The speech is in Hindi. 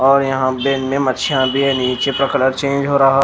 और यहां बे में मच्छिया भी है नीचे का कलर चेंज हो रहा--